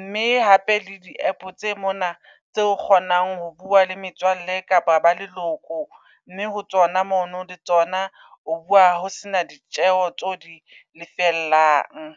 mme hape le di -app tse mona tseo kgonang ho bua le metswalle kapa ba leloko. Mme ho tsona mono le tsona o bua ho sena ditjeho tseo di lefellang.